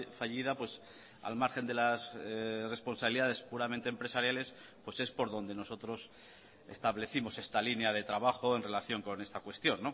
fallida al margen de las responsabilidades puramente empresariales pues es por donde nosotros establecimos esta línea de trabajo en relación con esta cuestión